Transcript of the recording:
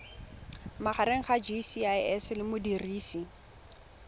magareng ga gcis le modirisi